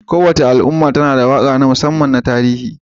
Kowace al'umma tana da waƙa ta musamman ta tarihi